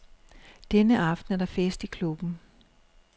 Denne aften er der fest i klubben.